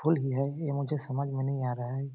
फूल ही है ये मुझे समझ में नहीं आ रहा हैं ।